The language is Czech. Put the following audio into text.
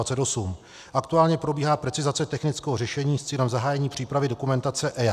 Aktuálně probíhá precizace technického řešení s cílem zahájení přípravy dokumentace EIA.